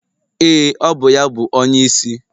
Ee, ọ bụ ya bụ onyeisi